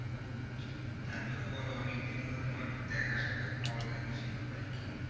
তারপরে বলো অনেক দিন হলো তোমার দেখা সাক্ষাত পাওয়া যায় না সেইভাবে আরকি।